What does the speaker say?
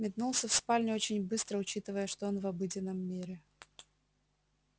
метнулся в спальню очень быстро учитывая что он в обыденном мире